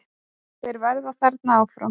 Þeir verða þarna áfram.